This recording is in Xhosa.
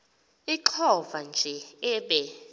ixovwa nje ibe